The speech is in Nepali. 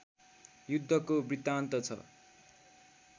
युद्धको वृत्तान्त छ